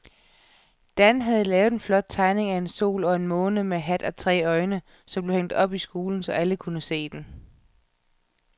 Dan havde lavet en flot tegning af en sol og en måne med hat og tre øjne, som blev hængt op i skolen, så alle kunne se den.